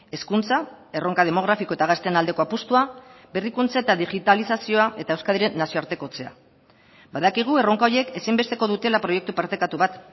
hezkuntza erronka demografiko eta gazteen aldeko apustua berrikuntza eta digitalizazioa eta euskadiren nazioartekotzea badakigu erronka horiek ezinbesteko dutela proiektu partekatu bat